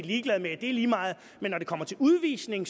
ligeglade med det er lige meget men når det kommer til udvisning